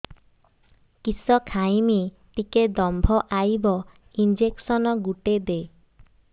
କିସ ଖାଇମି ଟିକେ ଦମ୍ଭ ଆଇବ ଇଞ୍ଜେକସନ ଗୁଟେ ଦେ